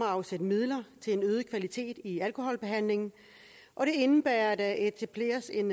afsat midler til en øget kvalitet i alkoholbehandlingen og det indebærer at der etableres en